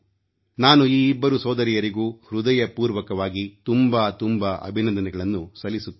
ನಾನು ಈ ಇಬ್ಬರು ಸೋದರಿಯರಿಗೂ ಹೃದಯಪೂರ್ವಕವಾಗಿ ತುಂಬಾ ತುಂಬಾ ಅಭಿನಂದನೆಗಳನ್ನು ತಿಳಿಸುತ್ತಿದ್ದೇನೆ